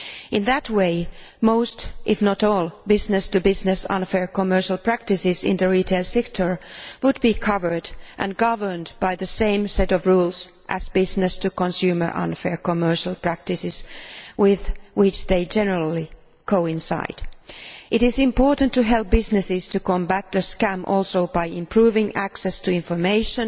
In that way, most if not all unfair business to business commercial practices in the retail sector would be covered and governed by the same set of rules as unfair business to consumer commercial practices, with which they generally overlap. It is also important to help businesses combat the scam by improving access to information